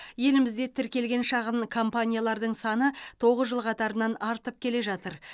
елімізде тіркелген шағын компаниялардың саны тоғыз жыл қатарынан артып келе жатыр